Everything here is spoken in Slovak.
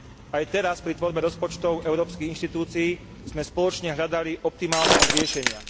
Aj teraz pri tvorbe rozpočtov európskych inštitúcií sme spoločne hľadali optimálne riešenia.